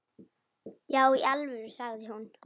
Já í alvöru, sagði hún.